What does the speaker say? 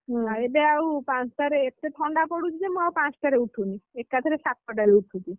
ହୁଁ ଏବେ ଆଉ ପାଞ୍ଚଟାରେ ଏତେ ଥଣ୍ଡା ପଡୁଛି ଯେ ମୁଁ ଆଉ ପାଞ୍ଚଟାରେ ଉଠୁନି ଏକାଥରେ ସାତଟାରେ ଉଠୁଛି ।